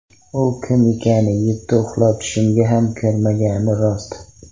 U kim ekani yetti uxlab tushimga ham kirmagani rost.